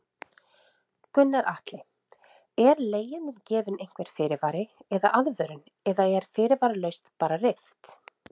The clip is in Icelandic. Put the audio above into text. Gunnar Atli: Er leigjendum gefinn einhver fyrirvari eða aðvörun eða er fyrirvaralaust bara rift?